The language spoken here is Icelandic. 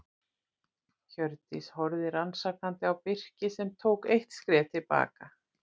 Hjördís horfði rannsakandi á Birki sem tók eitt skref til baka.